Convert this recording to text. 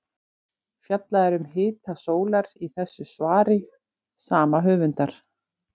Fjallað er um hita sólar í þessu svari sama höfundar.